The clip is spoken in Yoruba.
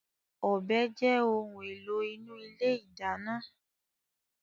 Ọ̀bẹ jẹ́ ohun èlò inú ilé ìdáná.